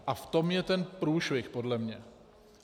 A v tom je ten průšvih podle mě.